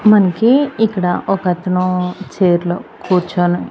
మనకీ ఇక్కడ ఒకతను చైర్లో కూర్చొని.